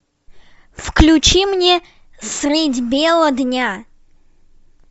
включи мне средь бела дня